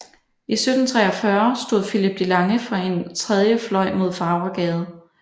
I 1743 stod Philip de Lange for en tredje fløj mod Farvergade